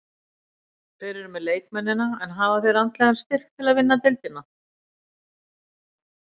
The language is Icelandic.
Þeir eru með leikmennina, en hafa þeir andlegan styrk til að vinna deildina?